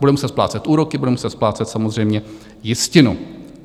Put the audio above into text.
Bude muset splácet úroky, bude muset splácet samozřejmě jistinu.